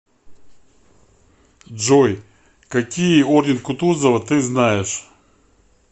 джой какие орден кутузова ты знаешь